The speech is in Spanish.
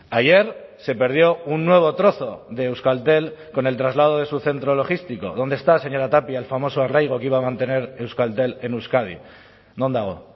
ayer se perdió un nuevo trozo de euskaltel con el traslado de su centro logístico dónde está señora tapia el famoso arraigo que iba a mantener euskaltel en euskadi non dago